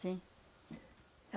Sim.